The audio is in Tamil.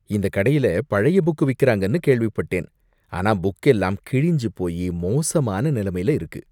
இந்த கடையில பழைய புக் விக்குறாங்கனு கேள்விப்பட்டேன், ஆனா புக் எல்லாம் கிழிஞ்சு போயி மோசமான நிலைமையில இருக்கு.